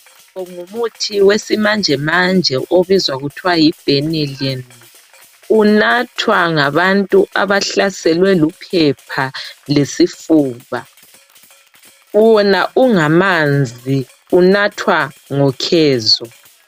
Ngumuthi wesimanjemanje obizwa kuthwa yi "benylin" unathwa ngabantu abahlaselwe luphepha lesifuba wona ungamanzi unathwa ngokhezo.